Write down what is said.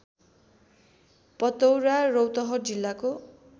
पतौरा रौतहट जिल्लाको